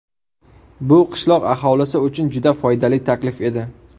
Bu qishloq aholisi uchun juda foydali taklif edi.